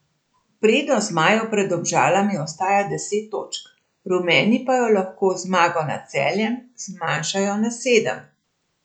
Prednost zmajev pred Domžalami ostaja deset točk, rumeni pa jo lahko z zmago nad Celjem zmanjšajo na sedem.